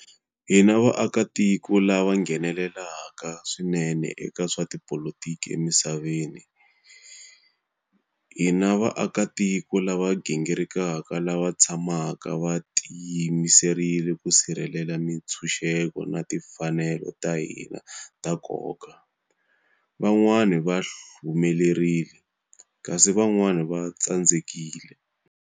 Hi na vaakitiko lava nghenelelaka swinene eka swa tipolotiki emisaveni. Hi na vaakitiko lava gingirikaka lava tshamaka va tiyimiserile ku sirhelela mitshuxeko na timfanelo ta hina ta nkoka. Van'wana va humelerile, kasi van'wana va tsandzekile.